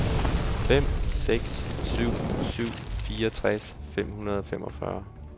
fem seks syv syv fireogtres fem hundrede og femogfyrre